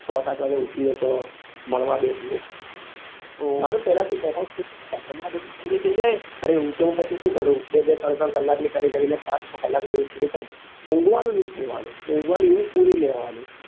છ સાત વાગે ઉઠીએ તો ભણવા બેસીએ મારું પેલા થી account state અરે ઉંગ તો પછી હું શું કરું બે બે ત્રણ ત્રણ કલાક ની કરી કરી ને પાંચ છ કલાક ની ઉંગ પૂરી કર દઉં ઉન્ગવા નું ની છોડવા નું ઉન્ગવા ની ઉંગ પૂરી લેવા ની